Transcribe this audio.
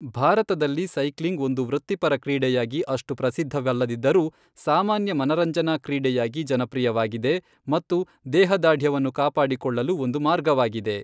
ಭಾರತದಲ್ಲಿ ಸೈಕ್ಲಿಂಗ್ ಒಂದು ವೃತ್ತಿಪರ ಕ್ರೀಡೆಯಾಗಿ ಅಷ್ಟು ಪ್ರಸಿದ್ಧವಲ್ಲದಿದ್ದರೂ, ಸಾಮಾನ್ಯ ಮನರಂಜನಾ ಕ್ರೀಡೆಯಾಗಿ ಜನಪ್ರಿಯವಾಗಿದೆ ಮತ್ತು ದೇಹದಾರ್ಢ್ಯವನ್ನು ಕಾಪಾಡಿಕೊಳ್ಳಲು ಒಂದು ಮಾರ್ಗವಾಗಿದೆ.